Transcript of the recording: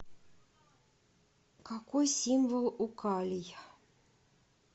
какой символ у калий